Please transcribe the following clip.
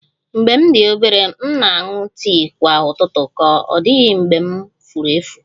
Mgbe m dị obere, m na-aṅụ tii kwa ụtụtụ, ọ dịghị mgbe m furu efu